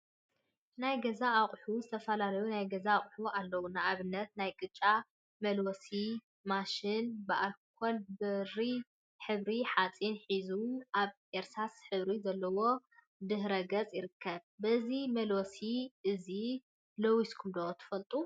ናይ ገዛ አቁሑ ዝተፈላለዩ ናይ ገዛ አቁሑ አለው፡፡ ንአብነት ናይ ቅጫ መልወሲ ማሽን ብአልኮን ብሪ ሕብሪ ሓፂንን ሒዙ አብ እርሳስ ሕብሪ ዘለዎ ድሕረ ገፅ ይርከብ፡፡ በዚ መልወሲ እዚ ለዊስኩም ዶ ትፈልጡ?